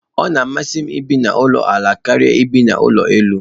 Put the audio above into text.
Ọ masịrị m ibi na ulo ala karia ebi n'ụlọ elu.